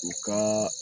U ka